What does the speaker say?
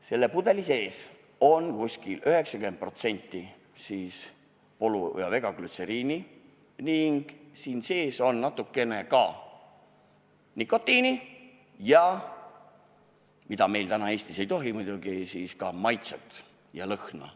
Selles pudelis on umbes 90% glütseriini, siin sees on ka natukene nikotiini ja – mis meil täna Eestis ei ole muidugi lubatud – lõhna- ja maitseaineid.